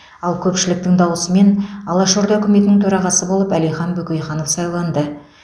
ал көпшіліктің дауысымен алаш орда үкіметінің төрағасы болып әлихан бөкейханов сайланды